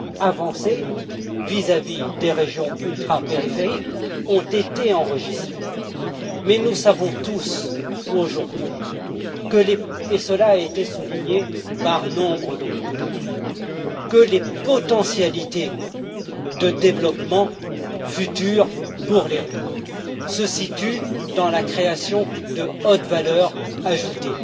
avancées vis à vis des régions ultrapériphériques ont été enregistrées, mais nous savons tous aujourd'hui et cela a été souligné par nombre de mes collègues que les potentialités de développement futur pour les RUP se situent dans la création d'une haute valeur ajoutée,